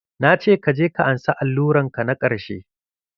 Na ce kaje ka ansa alluran ka na ƙarshe!